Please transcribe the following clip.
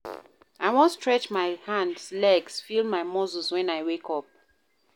I wan stretch my hands, legs, feel my muscles wen I wake up.